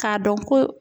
K'a dɔn ko